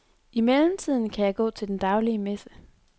I mellemtiden kan jeg gå til den daglige messe.